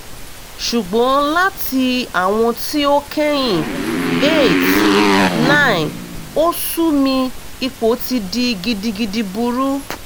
sugbon lati awọn ti o kẹhin eight nine osu mi ipo ti di gidigidi buru